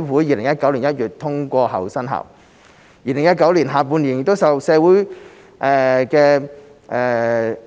2019年下半年受社會